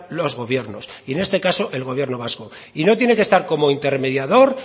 los gobiernos y en este caso el gobierno vasco y no tiene que estar como intermediador